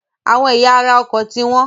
Àwọn ẹ̀yà ara ọkọ̀ ti wọ́n.